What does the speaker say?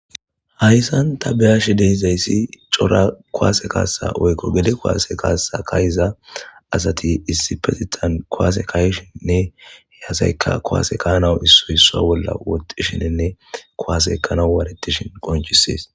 hayssanta beyashe deizayssi cora kowaase kaasa oykko gede koase kaasa kayiza asati issipetitan koase kayishinnne yaasayka kowase kanawu issoyssa bolla wotishenenne kowase kana waaretishin qonchisees